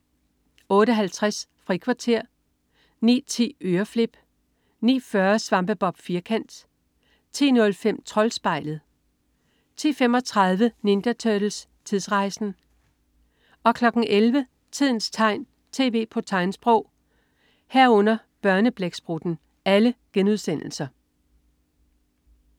08.50 Frikvarter* 09.10 Øreflip* 09.40 Svampebob Firkant* 10.05 Troldspejlet* 10.35 Ninja Turtles: Tidsrejsen!* 11.00 Tidens tegn. Tv på tegnsprog*